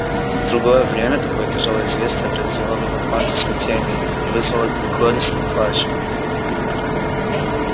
в другое время такое тяжелоё известие произвело бы в атланте смятение и вызвало горестный плач